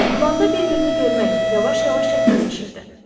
Dumanda bir-birini görmək yavaş-yavaş çətinləşirdi.